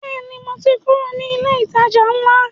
Bẹ́ẹ̀ni, mo ti kúrò ní ilé ìtajà ńlá